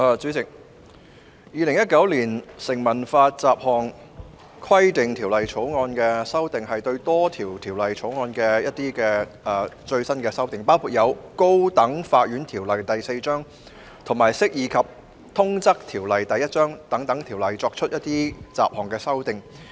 主席，《2019年成文法條例草案》的修正案，是對多項條例作出最新修訂，包括就《高等法院條例》及《釋義及通則條例》等作出雜項修訂。